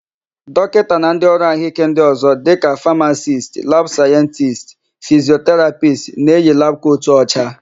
Dọkịta na ndịọrụ àhụ́íké ndị ọ̀zọ́ dịka famacist, labụ sayentisti, fisioterapisti na-eyi labụ kotu ọcha.